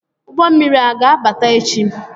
ụgbọ mmiri a ga-abata echi?